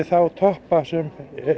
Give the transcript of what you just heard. þá toppa sem